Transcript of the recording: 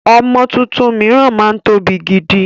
Ọmọ tuntun miran máa ń tóbi gidi